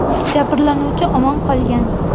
Jabrlanuvchi omon qolgan.